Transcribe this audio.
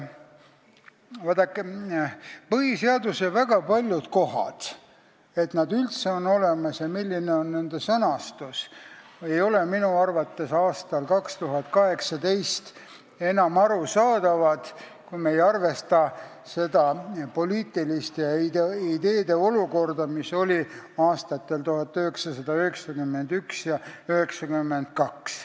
Vaadake, minu arvates ei ole põhiseaduse väga paljud kohad – see, miks nad on üldse olemas ja miks on nende sõnastus selline – aastal 2018 enam arusaadavad, kui me ei arvesta seda poliitilist ja ideelist olukorda, mis oli aastatel 1991 ja 1992.